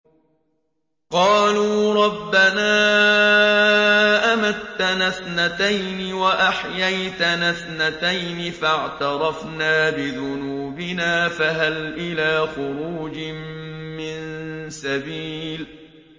قَالُوا رَبَّنَا أَمَتَّنَا اثْنَتَيْنِ وَأَحْيَيْتَنَا اثْنَتَيْنِ فَاعْتَرَفْنَا بِذُنُوبِنَا فَهَلْ إِلَىٰ خُرُوجٍ مِّن سَبِيلٍ